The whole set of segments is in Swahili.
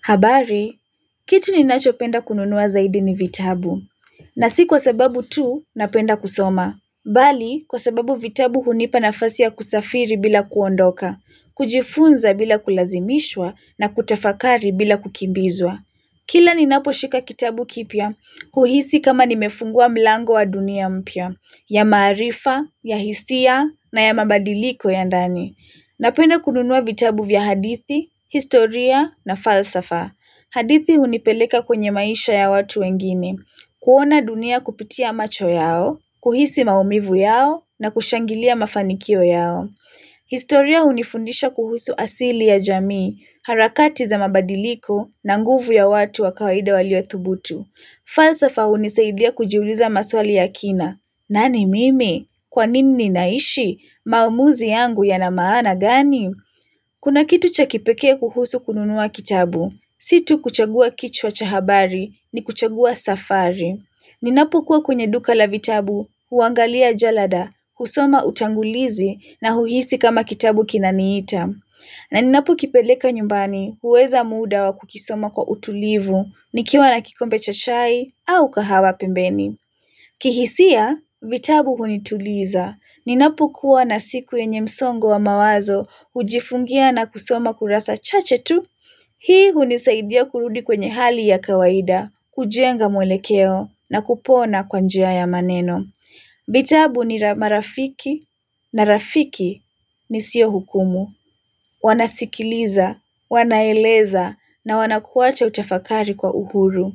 Habari, kitu ninachopenda kununua zaidi ni vitabu, na si kwa sababu tu na penda kusoma, bali kwa sababu vitabu hunipa nafasi ya kusafiri bila kuondoka, kujifunza bila kulazimishwa na kutafakari bila kukimbizwa. Kila ninapo shika kitabu kipya, kuhisi kama nimefungua mlango wa dunia mpya, ya maarifa, ya hisia, na ya mabadiliko ya ndani. Napenda kununua vitabu vya hadithi, historia, na falsafa. Hadithi hunipeleka kwenye maisha ya watu wengine, kuona dunia kupitia macho yao, kuhisi maumivu yao, na kushangilia mafanikio yao. Historia hunifundisha kuhusu asili ya jamii, harakati za mabadiliko na nguvu ya watu wa kawaida waliothubutu. Falsafa hunisaidia kujiuliza maswali ya kina. Nani mimi? Kwa nini ninaishi? Maamuzi yangu yana maana gani? Kuna kitu cha kipekee kuhusu kununua kitabu. Si tu kuchagua kichwa cha habari ni kuchagua safari. Ninapokuwa kwenye duka la vitabu, huangalia jalada, husoma utangulizi na huhisi kama kitabu kinaniita. Na ninapokipeleka nyumbani, huweza muda wa kukisoma kwa utulivu, nikiwa na kikombe cha chai au kahawa pembeni. Kihisia, vitabu hunituliza. Ninapokuwa na siku yenye msongo wa mawazo, hujifungia na kusoma kurasa chache tu. Hii hunisaidia kurudi kwenye hali ya kawaida, kujenga mwelekeo na kupona kwa njia ya maneno. Vitabu ni marafiki na rafiki nisio hukumu. Wanasikiliza, wanaeleza na wanakuacha utafakari kwa uhuru.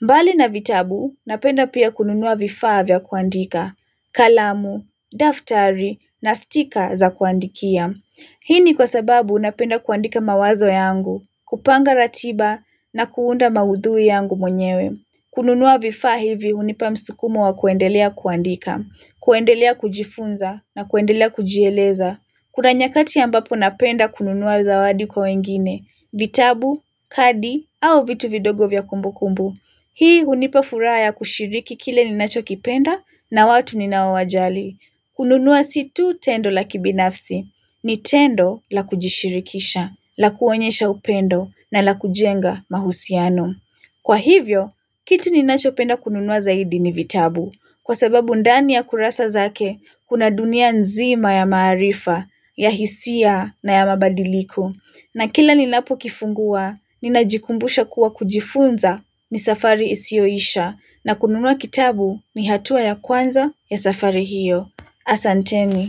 Mbali na vitabu napenda pia kununua vifaa vya kuandika, kalamu, daftari na stika za kuandikia. Hii ni kwa sababu napenda kuandika mawazo yangu, kupanga ratiba na kuunda maudhui yangu mwenyewe. Kununua vifaa hivi hunipa msukumo wa kuendelea kuandika, kuendelea kujifunza na kuendelea kujieleza. Kuna nyakati ambapo napenda kununua zawadi kwa wengine, vitabu, kadi, au vitu vidogo vya kumbukumbu. Hii hunipa furaha ya kushiriki kile ninachokipenda na watu ninaowajali. Kununua si tu tendo la kibinafsi, ni tendo la kujishirikisha, la kuonyesha upendo, na la kujenga mahusiano. Kwa hivyo, kitu ninachopenda kununua zaidi ni vitabu. Kwa sababu ndani ya kurasa zake, kuna dunia nzima ya maarifa, ya hisia na ya mabadiliko. Na kila ninapo kifungua, ninajikumbusha kuwa kujifunza ni safari isiyoisha. Na kununua kitabu ni hatua ya kwanza ya safari hiyo. Asanteni.